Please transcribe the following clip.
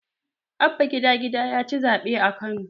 Abba gida-gida yaci zaɓe a Kano.